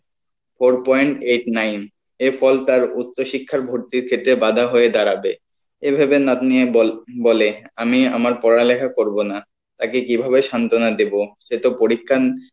four point eight nine, এর ফল তার উচ্চ শিক্ষার ভর্তির ক্ষেত্রে বাঁধা হয়ে দাঁড়াবে এভাবে নাতনির বল বলে আমি আমার পড়ালেখা করবো না তাকে কীভাবে সান্তনা দেবো সে তো পরীক্ষার